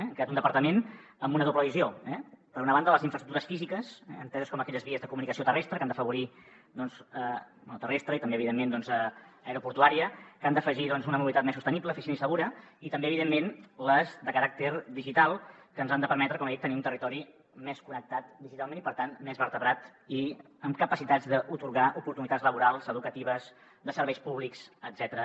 hem creat un departament amb una doble visió per una banda les infraestructures físiques enteses com aquelles vies de comunicació terrestre que han d’afavorir terrestre i també evidentment aeroportuària que han d’afegir una mobilitat més sostenible eficient i segura i també evidentment les de caràcter digital que ens han de permetre com he dit tenir un territori més connectat digitalment i per tant més vertebrat i amb capacitats d’atorgar oportunitats laborals educatives de serveis públics etcètera